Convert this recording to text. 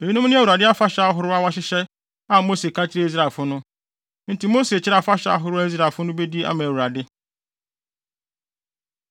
Eyinom ne Awurade afahyɛ ahorow a wahyehyɛ a Mose ka kyerɛɛ Israelfo no. Enti Mose kyerɛɛ afahyɛ ahorow a Israelfo no bedi ama Awurade.